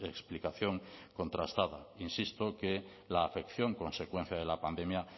explicación contrastada insisto que la afección consecuencia de la pandemia